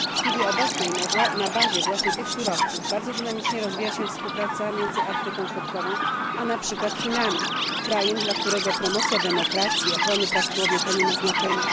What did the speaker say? W chwili obecnej na bazie właśnie tych surowców bardzo dynamicznie rozwija się współpraca między Afryką Środkową a na przykład Chinami, krajem dla którego promocja demokracji i ochrony praw człowieka nie ma znaczenia.